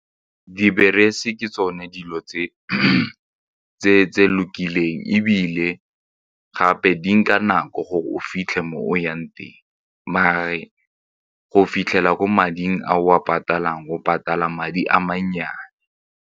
Dibese ke tsone dilo tse lokileng ebile gape di nka nako gore o fitlhe mo o yang teng mare go fitlhela ko mading a o a patalang o patala madi a mannyane.